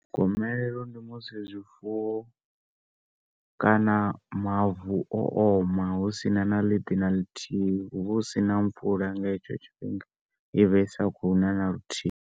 Gomelelo ndi musi zwifuwo kana mavu o oma hu sina na ḽidi na ḽithihi hu vha hu sina mvula nga hetsho tshifhinga i vha i sa kho u na na luthihi.